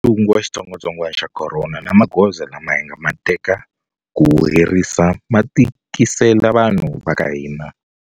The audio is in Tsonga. Ntungu wa xitsongwatsongwana xa corona na magoza lama hi nga ma teka ku wu herisa ma tikisele vanhu va ka hina.